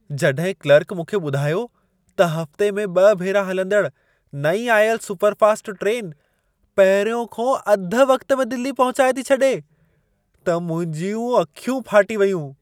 जॾहिं क्लर्क मूंखे ॿुधायो त हफ़्ते में ॿ भेरा हलंदड़ नईं आयल सुपरफास्ट ट्रेन पहिरियों खां अधु वक़्त में दिल्ली पहुचाए थी छॾे, त मुंहिंजूं अखियूं फाटी वयूं।